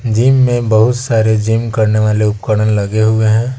Gym में बहुत सारे जिम करने वाले उपकरण लगे हुए हैं।